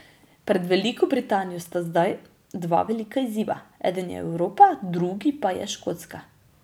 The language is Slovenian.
Pred Veliko Britanijo sta zdaj dva velika izziva, eden je Evropa, drugi pa je Škotska.